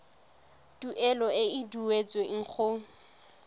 tuelo e e duetsweng go